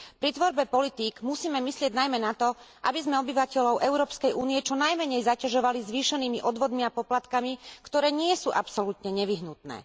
Pri tvorbe politík musíme myslieť najmä na to, aby sme obyvateľov Európskej únie čo najmenej zaťažovali zvýšenými odvodmi a poplatkami, ktoré nie sú absolútne nevyhnutné.